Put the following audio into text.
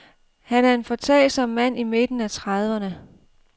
Han er en foretagsom mand i midten af trediverne.